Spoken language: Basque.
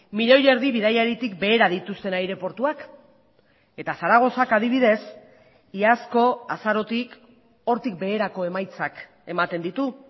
milioi erdi bidaiaritik behera dituzten aireportuak eta zaragozak adibidez iazko azarotik hortik beherako emaitzak ematen ditu